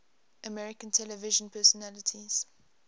american television personalities